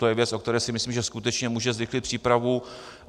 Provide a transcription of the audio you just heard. To je věc, o které si myslím, že skutečně může zrychlit přípravu.